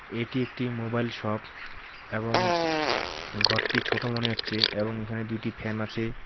এটি একটি mobile shop এবং ঘরটি ছোট মনে হচ্ছে এবং এখানে দুইটি ফ্যান আছে।